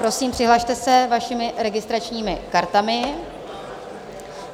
Prosím, přihlaste se vašimi registračními kartami.